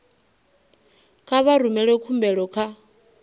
kha vha rumele khumbelo kha